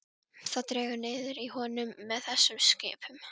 Það liggur því í augum uppi hvað við gerum.